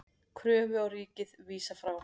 Kröfu á ríkið vísað frá